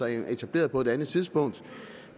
er etableret på et andet tidspunkt